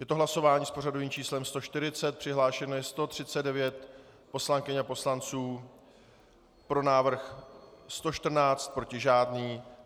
Je to hlasování s pořadovým číslem 140, přihlášeno je 139 poslankyň a poslanců, pro návrh 114, proti žádný.